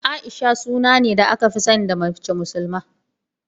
A'isha suna ne da aka fi sani da mace musulma.